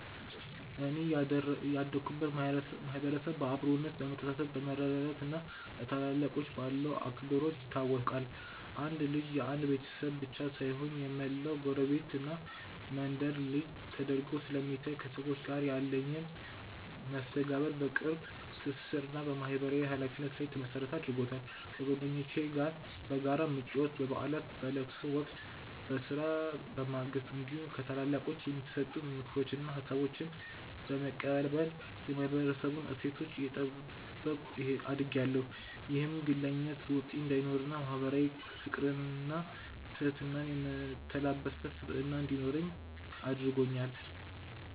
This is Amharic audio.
እኔ ያደኩበት ማህበረሰብ በአብሮነት፣ በመተሳሰብ፣ በመረዳዳት እና ለታላላቆች ባለው አክብሮት ይታወቃል። አንድ ልጅ የአንድ ቤተሰብ ብቻ ሳይሆን የመላው ጎረቤትና መንደር ልጅ ተደርጎ ስለሚታይ፣ ከሰዎች ጋር ያለኝን መስተጋብር በቅርብ ትስስር እና በማህበራዊ ኃላፊነት ላይ የተመሰረተ አድርጎታል። ከጓደኞቼ ጋር በጋራ በመጫወት፣ በበዓላትና በለቅሶ ወቅት በስራ በማገዝ እንዲሁም ከታላላቆች የሚሰጡ ምክሮችንና ሀሳቦችን በመቀበል የማህበረሰቡን እሴቶች እየጠበኩ አድጌያለሁ። ይህም ግለኝነት በውስጤ እንዳይኖርና ማህበራዊ ፍቅርንና ትህትናን የተላበሰ ስብዕና እንዲኖረኝ አድርጎኛል።